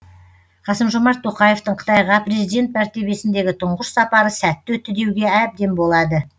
қасым жомарт тоқаевтың қытайға президент мәртебесіндегі тұңғыш сапары сәтті өтті деуге әбден болады